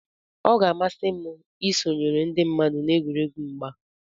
ọ ga-amasị m isonyere ndị mmadụ na egwuregwu mgba